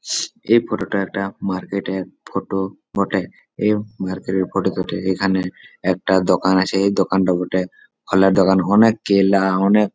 এই ফটো টা একটা মার্কেট এর ফটো বটে। এই মার্কেট এর ফটো টাতে এখানে একটা দকান আছে ।এই দকানটা বটে ফলের দকান অনেক কেলা আ অনেক --